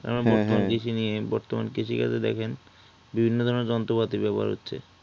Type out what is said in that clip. বর্তমান কৃষি নিয়ে বর্তমান কৃষি কাজ এ দেখেন বিভিন্ন ধরণের যন্ত্রপাতি ব্যবহার হচ্ছে